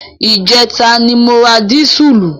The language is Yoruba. Ìjẹta ni mo ra dísùlù.